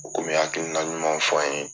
kɔmi'ye hakilina ɲumanw fɔ an ye